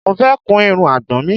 Mo fẹ́ kun irun àgbọ̀n mi